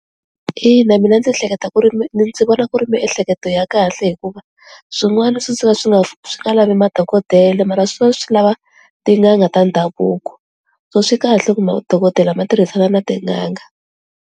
Ina, mina ndzi hleketa ku ri ndzi vona ku ri miehleketo ya kahle hi ku swin'wana swi suka swi nga swi nga lavi madokodele mara swi lava tin'anga ta ndhavuko so swi kahle ku madokodela ma tirhisana na tin'anga.